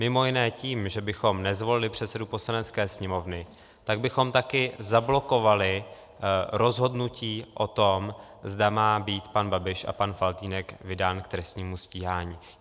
Mimo jiné tím, že bychom nezvolili předsedu Poslanecké sněmovny, tak bychom také zablokovali rozhodnutí o tom, zda má být pan Babiš a pan Faltýnek vydán k trestnímu stíhání.